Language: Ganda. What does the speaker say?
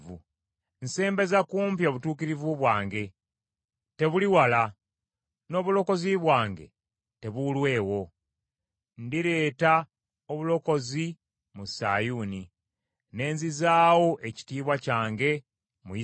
Nsembeza kumpi obutuukirivu bwange, tebuli wala. N’obulokozi bwange tebuulwewo. Ndireeta obulokozi mu Sayuuni, ne nzizaawo ekitiibwa kyange mu Isirayiri.”